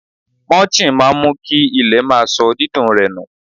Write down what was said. Mulching máa ń mú kí ilẹ̀ má sọ dídùn rẹ̀ nù.